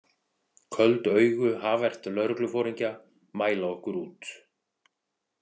Köld augu Javert lögregluforingja mæla okkur út.